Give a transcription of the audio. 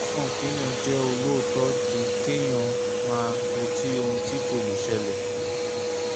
ó sàn kéèyàn jẹ́ olóòótọ́ ju kéèyàn máa retí ohun tí kò lè ṣẹlẹ̀